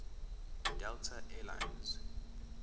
delta air lines